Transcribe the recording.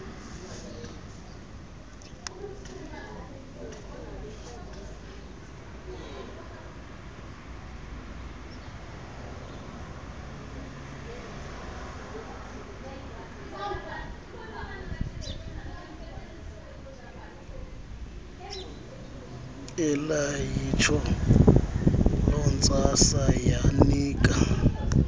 elaliyitsho lontsasa yanika